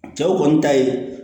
Cɛw kɔni ta ye